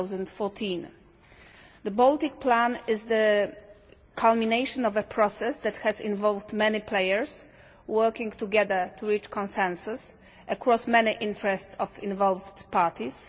2014. The Baltic plan is the culmination of a process that has involved many players working together to reach consensus across many interests of involved parties.